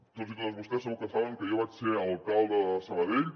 tots i totes vostès segur que saben que jo vaig ser alcalde de sabadell